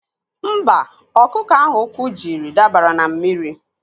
Mba, ọkụkọ ahụ ụkwụ jiri dabara na mmiri.